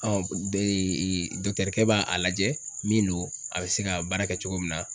dɔkitɛrikɛ b'a lajɛ min don a bɛ se ka baara kɛ cogo min na.